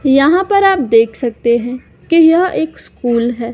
यहां पर आप देख सकते हैं कि यह एक स्कूल है।